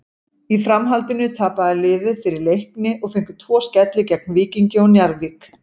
Í framhaldinu tapaði liðið fyrir Leikni og fengu tvo skelli gegn Víkingi og Njarðvík.